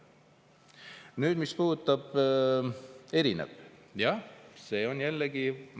Ja veel sellest, mis puudutab erinevaid.